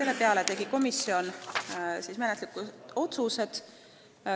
Lõpuks tegi komisjon menetluslikud otsused.